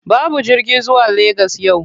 Babu jirgi zuwa Legas yau.